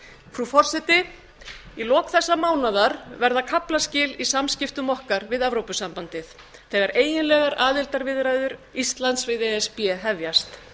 frú forseti í lok þessa mánaðar verða kaflaskil í samskiptum okkar við evrópusambandið þegar eiginlegar aðildarviðræður íslands við e s b hefjast